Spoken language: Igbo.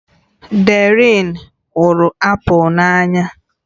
Darien hụrụ apụl n'anya